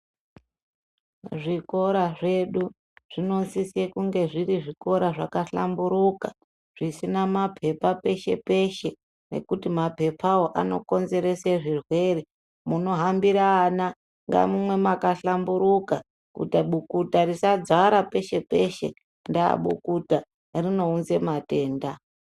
Zvikora zvedu zvinosisa kunge zviri zvikora zvakahlamburuka zvisina mapepa peshe-peshe nekuti mapepawo anokonzerese zvirwere munohanbira vana ngamuve makahlamburuka kuita bukuta risadzara peshe-peshe ndaabukuta rinounza matenda.